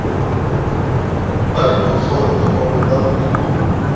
wa diphoofolo kapa bolaodi bo